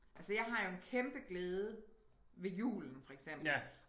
Altså jeg har jo en kæmpe glæde ved julen for eksempel